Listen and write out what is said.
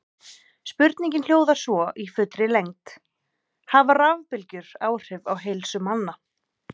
Spurningin hljóðar svo í fullri lengd: Hafa rafbylgjur áhrif á heilsu manna?